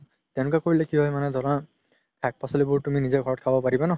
তেনেকুৱা কৰিলে মানে কি হয় ধৰা শাক পাচলিবোৰ তুমি নিজে ঘৰত খাব পাৰিবা ন